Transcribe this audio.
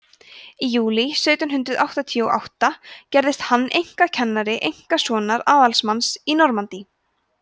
í júlí sautján hundrað áttatíu og átta gerðist hann einkakennari einkasonar aðalsmanns í normandí